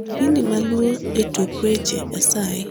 kipindi maluo e tuk weche asayi